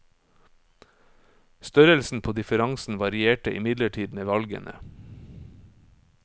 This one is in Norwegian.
Størrelsen på differansen varierte imidlertid med valgene.